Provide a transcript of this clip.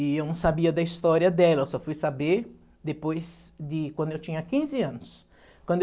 E eu não sabia da história dela, eu só fui saber depois de quando eu tinha quinze anos. Quando eu